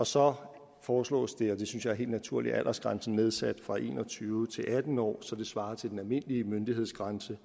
så foreslås det og det synes jeg er helt naturligt at aldersgrænsen nedsættes fra en og tyve år til atten år så den svarer til den almindelige myndighedsgrænse